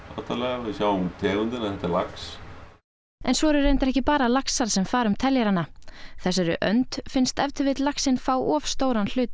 við sjáum tegundina þetta er lax en svo eru reyndar ekki bara laxar sem fara um teljarann þessari önd finnst ef til vill laxinn fá of stóran hluta